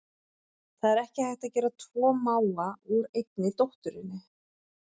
Það er ekki hægt að gera tvo mága úr einni dótturinni.